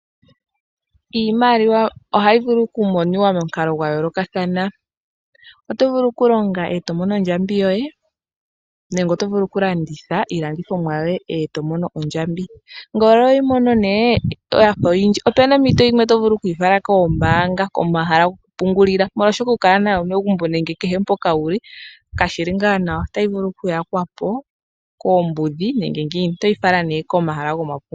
Iimaliwa ohayi vulu okumonika momukalo gwa yoolokathana . Otovulu okulonga etomono ondjambi yoye nenge Otovulu oku landitha iilandithomwa yoye etomono ondjambi. Ngele oho yimone nee yafa oyindji opena ompito ndjono tovulu okuyi fala koombaanga ano komahala goku pungulila ,molwaashoka okukala nayo megumbo nenge mpoka wuli kashili ngaa nawa oshoka otayi vulu okuyakwapo koombuudhi. Oto yifala nee komahala goma pungulilo.